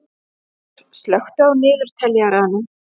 Sigþór, slökktu á niðurteljaranum.